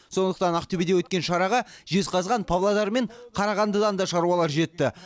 сондықтан ақтөбеде өткен шараға жезқазған павлодар мен қарағандыдан да шаруалар жетті